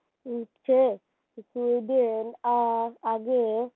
Sweden আর আগে